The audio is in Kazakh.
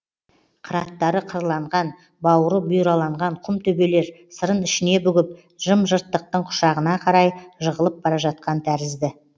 қыраттары қырланған бауыры бұйраланған құм төбелер сырын ішіне бүгіп жым жырттықтың құшағына қарай жығылып бара жатқан тәрізді